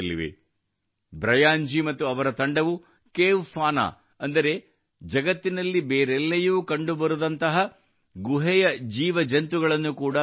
Brian G ಮತ್ತು ಅವರ ತಂಡವು ಕೇವ್ ಫೌನಾ ಅಂದರೆ ಜಗತ್ತಿನಲ್ಲಿ ಬೇರೆಲ್ಲಿಯೂ ಕಂಡುಬರದಂತಹ ಗುಹೆಯ ಜೀವ ಜಂತುಗಳನ್ನು ಕೂಡಾ ದಾಖಲಿಸಿದೆ